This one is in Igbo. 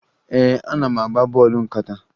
Ee, ana m agba bọọlụ nkata